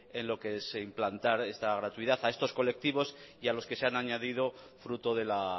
en lo que es implantar esta gratuidad a estos colectivos y a los que se han añadido fruto de la